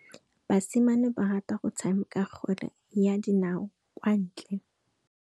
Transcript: Basimane ba rata go tshameka kgwele ya dinaô kwa ntle.